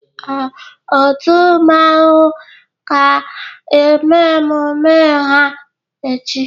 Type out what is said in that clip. Ee, otu mmanwu ga eme emume ha echi